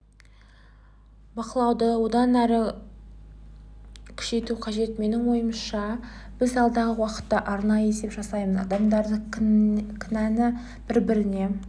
бақылауды одан әрі күшейту қажет менің ойымша біз алдағы уақытта арнайы есеп жасаймыз адамдарды кінәні бір-біріне